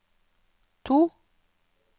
to